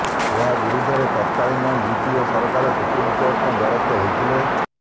ଏହା ବିରୋଧରେ ତତକାଳୀନ ୟୁପିଏ ସରକାର ସୁପ୍ରିମକୋର୍ଟଙ୍କ ଦ୍ୱାରସ୍ଥ ହୋଇଥିଲେ